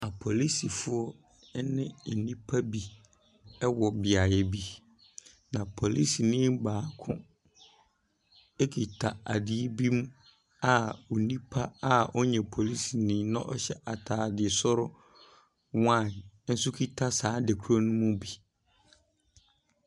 Apolisifoɔ ne nnipa bi wɔ beaeɛ bi, na policeni baako kita ade bi mu a onipa a ɔnyɛ policeni na ɔhyɛ ataade soro wine nso kita saa ade kon no bi.